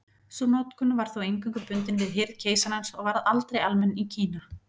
Sú notkun var þó eingöngu bundin við hirð keisarans og varð aldrei almenn í Kína.